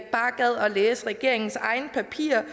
læse regeringens egne papirer